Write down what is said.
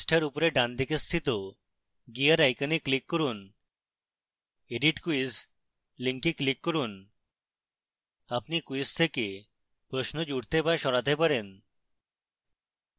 পৃষ্ঠার উপরে ডানদিকে স্থিত gear icon click করুন edit quiz link click করুন আপনি quiz থেকে প্রশ্ন জুড়তে বা সরাতে পারেন